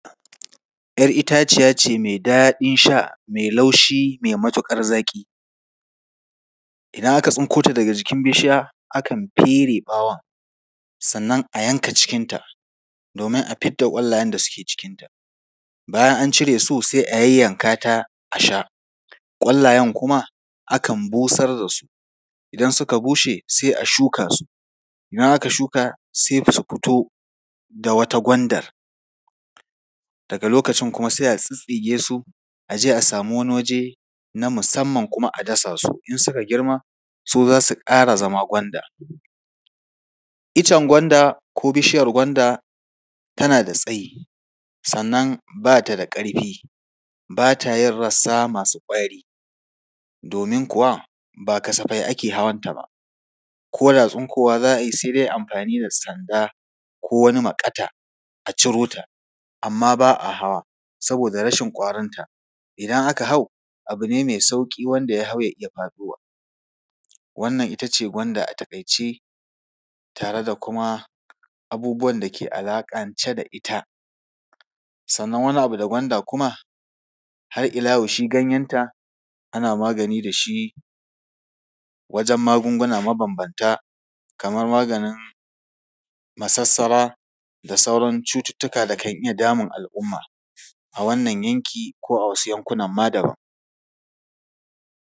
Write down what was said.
‘Yar itaciya ce mai daɗin sha, mai laushi, mai matuƙar zaƙi. Idan aka tsinko ta daga jikin bishiya, akan fere ɓawon, sannan a yanka cikinta domin a fidda ƙwallayen da suke cikinta. Bayan an cire su, sai a yayyanka ta a sha. Ƙwallayen kuma, akan busar da su. Idan suka bushe, sai a shuka su. Idan aka shuka, sai ko su fito da wata gwandar. Daga lokacin kuma sai a tsittsige su, a je a samu wani waje na musamman kuma a dasa su. In suka girma, su za su ƙara zama gwanda. Icen gwanda ko bishiyar gwanda, tana da tsayi sannan ba ta da ƙarfi, ba ta yin rassa masu ƙwari domin kuwa ba kasafai ake hawanta ba. Ko da tsinkowa za a yi, sai dai a yi amfani da sanda ko wani maƙata, a ciro ta, amma ba a hawa saboda rashin ƙwarinta. Idan aka hau ta, abu ne mai sauƙi wanda ta hau ya iya faɗowa. Wannan ita ce gwanda a taƙaice tare da kuma abubuwan da ke alaƙance da ita. Sannan wani abu da gwanda kuma, har ila yau shi ganyenta, ana magani da shi wajen magunguna mabambanta, kamar maganin masassara da sauran cututtuka da kan iya damun al’umma, a wannan yanki ko a wasu yankunan ma daban.